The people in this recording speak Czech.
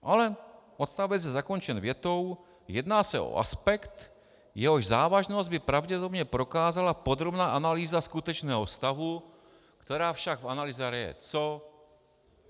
Ale odstavec je zakončen větou: Jedná se o aspekt, jehož závažnost by pravděpodobně prokázala podrobná analýza skutečného stavu, která však v analýze RIA - co?